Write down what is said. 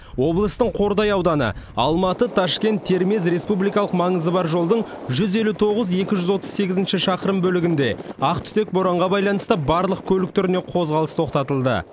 облыстың қордай ауданы алматы ташкент термез республикалық маңызы бар жолдың жүз елу тоғыз екі жүз отыз сегізінші шақырым бөлігінде ақ түтек боранға байланысты барлық көлік түріне қозғалыс тоқтатылды